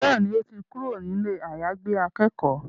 Bẹ́ẹ̀ni, ó ti kúrò ní ilé àyàgbé akẹ́kọ̀ọ́